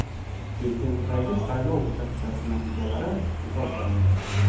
Bektemirdagi saylov uchastkasi natijalari bekor qilindi.